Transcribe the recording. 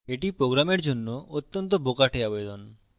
এটি program জন্য অত্যন্ত বোকাটে আবেদন এপ্লিকেশন